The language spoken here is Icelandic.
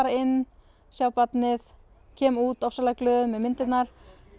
inn sjá barnið kem út ofsalega glöð með myndirnar